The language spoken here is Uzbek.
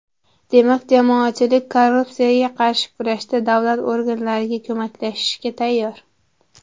Demak, jamoatchilik korrupsiyaga qarshi kurashda davlat organlariga ko‘maklashishga tayyor.